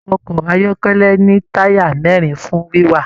Ọkọ ayọkẹlẹ ní taya mẹrin fún wiwà.